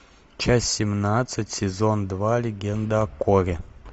часть семнадцать сезон два легенда о корре